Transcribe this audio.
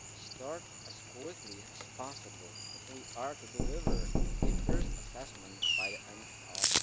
start as quickly as possible if we are to deliver an initial assessment by the end of